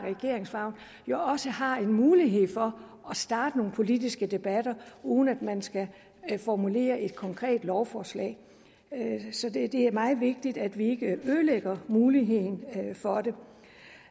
jo også har mulighed for at starte nogle politiske debatter uden at man skal formulere et konkret lovforslag så det er meget vigtigt at vi ikke ødelægger muligheden for det